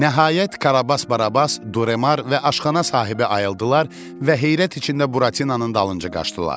Nəhayət, Karabas Barabas, Duremar və aşxana sahibi ayıldılar və heyrət içində Buratinanın dalınca qaçdılar.